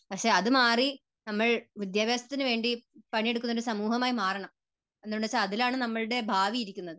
പക്ഷേ അതുമാറി നമ്മൾ വിദ്യാഭ്യാസത്തിനുവേണ്ടി പണിയെടുക്കുന്ന ഒരു സമൂഹമായി മാറണം. എന്തുകൊണ്ടെന്നുവെച്ചാൽ അതിലാണ് നമ്മുടെ ഭാവി ഇരിക്കുന്നത്.